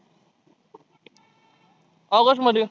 August मध्ये